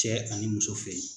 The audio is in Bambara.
Cɛ ani muso fɛ yen